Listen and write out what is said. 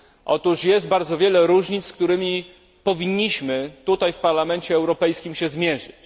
Otóż jest bardzo wiele różnic, z którymi powinniśmy tutaj w Parlamencie Europejskim się zmierzyć.